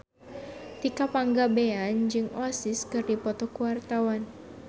Tika Pangabean jeung Oasis keur dipoto ku wartawan